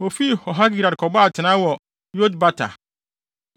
Wofii Horhagidgad kɔbɔɔ atenae wɔ Yotbata.